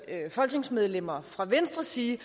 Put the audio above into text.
folketingsmedlemmer fra venstre sige